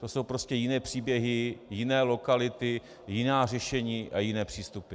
To jsou prostě jiné příběhy, jiné lokality, jiná řešení a jiné přístupy.